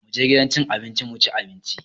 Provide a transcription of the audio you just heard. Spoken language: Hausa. Mu je gidan cin abinci mu ci abinci!